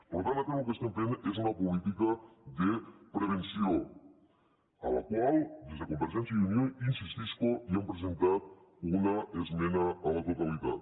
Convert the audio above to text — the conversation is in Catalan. per tant nosaltres lo que estem fent és una política de prevenció per la qual des de convergència i unió hi insistisc hi hem presentat una esmena a la totalitat